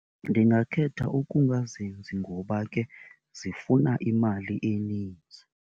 Ndingakhetha ukungazenzi ngoba ke zifuna imali eninzi.